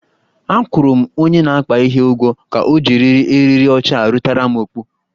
Akwụrụ m onye na-akpa ihe ụgwọ ka ojiriri eriri ọcha rutaram okpu